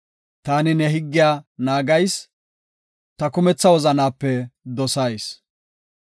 Taani ne higgiya naagayis; ta kumetha wozanaape dosayis.